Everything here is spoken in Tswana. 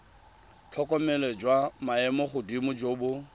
tlhokomelo jwa maemogodimo jo bo